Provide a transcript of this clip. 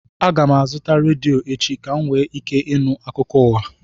Aga m azụta redio echi ka m nwee ike ịnụ akụkọ ụwa